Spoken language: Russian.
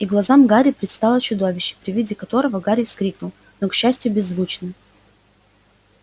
и глазам гарри предстало чудовище при виде которого гарри вскрикнул но к счастью беззвучно